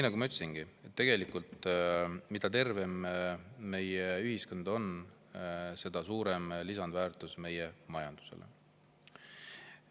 Nagu ma ütlesin, mida tervem meie ühiskond on, seda suurem on lisandväärtus meie majandusele.